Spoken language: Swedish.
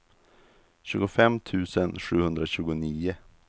tjugofem tusen sjuhundratjugonio